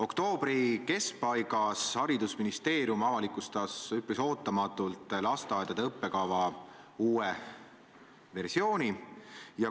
Oktoobri keskpaigas avalikustas haridusministeerium üpris ootamatult lasteaedade õppekava uue versiooni.